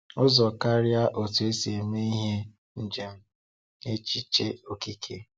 Ụzọ karịa otu esi eme ihe—njem n’echiche okike.